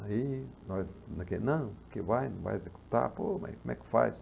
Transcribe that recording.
Aí, nós, naquele não, porque vai, não vai executar, pô, mas como é que faz?